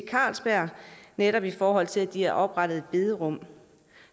carlsberg netop i forhold til at de har oprettet et bederum